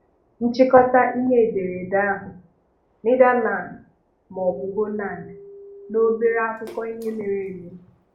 Nchịkọta ihe edereede ahu: Netherlands maọbụ Holland? Na obere akụkọ ihe mere eme;